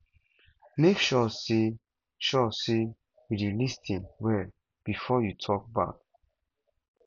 make sure say sure say you dey lis ten well before you talk back